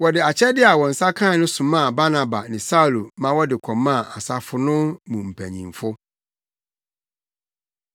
Wɔde akyɛde a wɔn nsa kae no somaa Barnaba ne Saulo ma wɔde kɔmaa asafo no mu mpanyimfo.